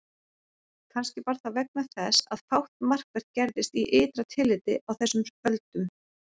Kannski var það vegna þess að fátt markvert gerðist í ytra tilliti á þessum öldum.